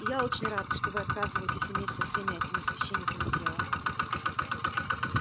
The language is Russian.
и я очень рад что вы отказываетесь иметь со всеми этими священниками дело